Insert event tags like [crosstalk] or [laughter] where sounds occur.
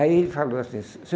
Aí ele falou assim, [unintelligible]